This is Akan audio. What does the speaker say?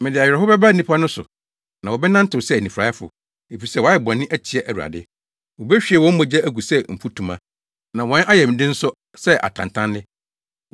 “Mede awerɛhow bɛba nnipa no so na wɔbɛnantew sɛ anifuraefo, efisɛ wɔayɛ bɔne atia Awurade. Wobehwie wɔn mogya agu sɛ mfutuma, na wɔn ayamde nso sɛ atantanne.